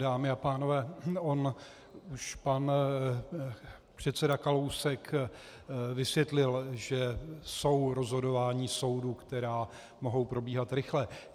Dámy a pánové, on už pan předseda Kalousek vysvětlil, že jsou rozhodování soudu, která mohou probíhat rychle.